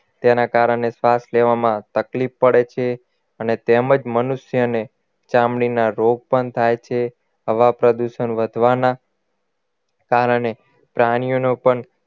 તેના કારણે શ્વાસ લેવામાં તકલીફ પડે છે અને તેમજ મનુષ્યને ચામડીના રોગ પણ થાય છે હવા પ્રદુષણ વધવાના કારણે પ્રાણીઓનો પણ